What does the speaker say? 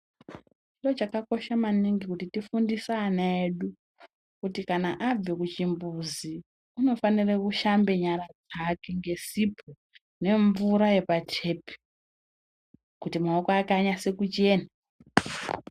Chiro chakakosha maningi kuti tifundise ana edu kuti kana abve kuchimbuzi unofanire kushambe nyara dzake ngesipo nemvura yepatepi, kuti maoko ake anyase kuchena.